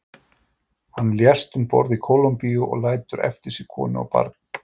Hann lést um borð í Kólumbíu og lætur eftir sig konu og barn.